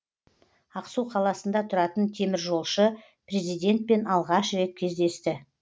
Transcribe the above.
ақсу қаласында тұратын теміржолшы президентпен алғаш рет кездесті